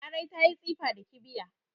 Larai ta yi tsifa da kibiya